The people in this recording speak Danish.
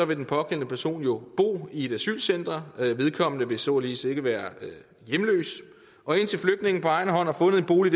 vil den pågældende person jo bo i et asylcenter vedkommende vil således ikke være hjemløs og indtil flygtningen på egen hånd har fundet en bolig